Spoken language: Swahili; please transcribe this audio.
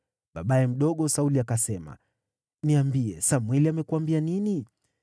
Babaye mdogo Sauli akasema, “Niambie Samweli amekuambia nini.”